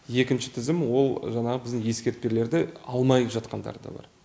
екінші тізім ол жаңағы біздің ескертпелерді алмай жатқандар да бар